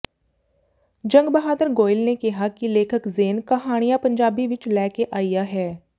ਜੰਗ ਬਹਾਦਰ ਗੋਇਲ ਨੇ ਕਿਹਾ ਕਿ ਲੇਖਕ ਜ਼ੇਨ ਕਹਾਣੀਆਂ ਪੰਜਾਬੀ ਵਿੱਚ ਲੈ ਕੇ ਆਇਆ ਹੈ